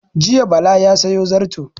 Jiya Bala ya sayo zarto